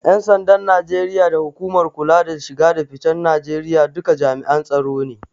Ƴan sandan Najeriya da hukumar kula da shige da ficen Najeriya duka jami'an tsaro ne.